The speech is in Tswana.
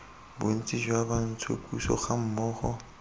bontsi jwa bantsho puso gammogo